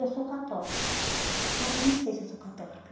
Eu sou católica, mas eu não sei se eu sou católica.